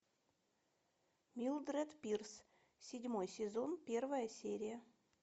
милдред пирс седьмой сезон первая серия